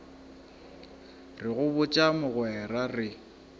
re go botša mogwera re